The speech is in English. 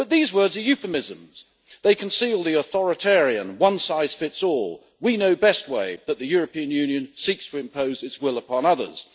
But these words are euphemisms, they conceal the authoritarian one size fits all we know best' way that the European Union seeks to impose its will upon others.